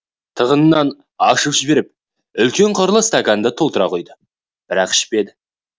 тығынын ашып жіберіп үлкен қырлы стаканды толтыра құйды бірақ ішпеді